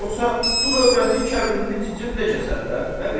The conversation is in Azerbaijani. Yoxsa dul övrətin kəbinini cicim də kəsər də.